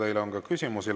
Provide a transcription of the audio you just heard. Teile on ka küsimusi.